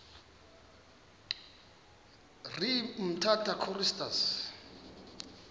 ne umtata choristers